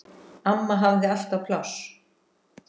Amma hafði alltaf pláss.